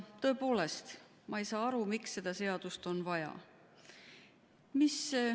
Tõepoolest, ma ei saa aru, miks seda seadust on vaja.